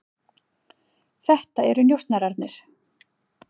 Þetta eru njósnararnir.